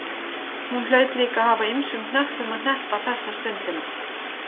Hún hlaut líka að hafa ýmsum hnöppum að hneppa þessa stundina.